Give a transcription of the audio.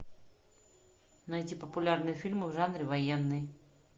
найти популярные фильмы в жанре военный